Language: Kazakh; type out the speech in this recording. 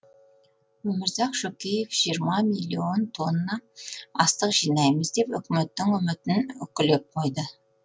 өмірзақ шөкеев жиырма миллион тонна астық жинаймыз деп үкіметтің үмітін үкілеп қойды